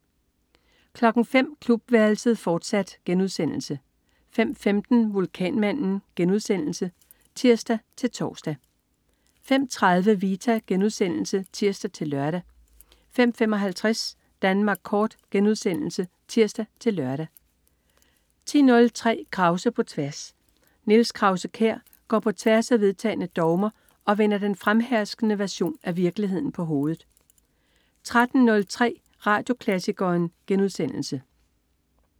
05.00 Klubværelset, fortsat* 05.15 Vulkanmanden* (tirs-tors) 05.30 Vita* (tirs-lør) 05.55 Danmark Kort* (tirs-lør) 10.03 Krause på tværs. Niels Krause-Kjær går på tværs af vedtagne dogmer og vender den fremherskende version af virkeligheden på hovedet 13.03 Radioklassikeren*